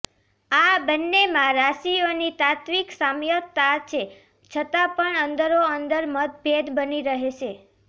આ બંનેમાં રાશિઓની તાત્વિક સામ્યતા છે છતાં પણ અંદરોઅંદર મનભેદ બની રહેશે